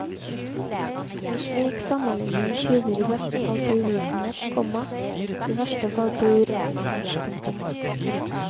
En slik sammenligning tyder i beste fall på uvitenhet, komma i verste fall på uredelighet. punktum